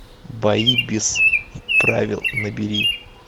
бои без правил набери